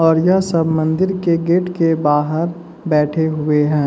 और यह सब मंदिर के गेट के बाहर बैठे हुए है।